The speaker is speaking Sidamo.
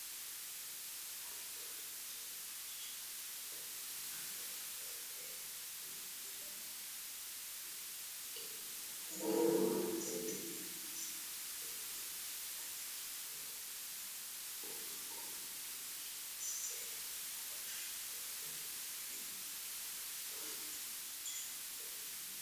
Alba Jawaachisha yitanno niwaaweta uminna noo ne egenno horonsidhine hasaawunni layinki guffa ani qoonqo naggi asse halashshitine dawarre Alba Jawaachisha yitanno.